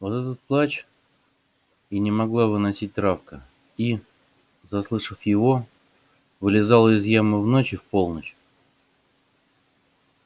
вот этот плач и не могла выносить травка и заслышав его вылезала из ямы в ночь и в полночь